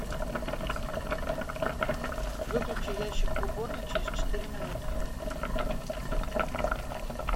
выключи ящик в уборной через четыре минуты